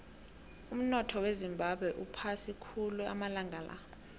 umunotho wezimbabwe uphasi khulu amalanga la